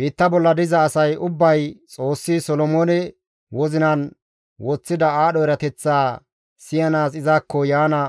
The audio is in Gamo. Biitta bolla diza asay ubbay Xoossi Solomoone wozinan woththida aadho erateththaa siyanaas izakko yaana